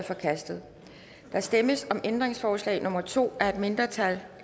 forkastet der stemmes om ændringsforslag nummer to af et mindretal